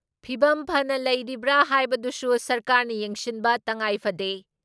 ꯐꯤꯚꯝ ꯐꯅ ꯂꯩꯔꯤꯕ꯭ꯔꯥ ꯍꯥꯏꯕꯗꯨꯁꯨ ꯁꯔꯀꯥꯔꯅ ꯌꯦꯡꯁꯤꯟꯕ ꯇꯉꯥꯏꯐꯗꯦ ꯫